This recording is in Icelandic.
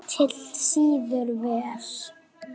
Ketill sýður vel.